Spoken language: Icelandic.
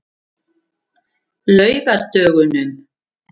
laugardögunum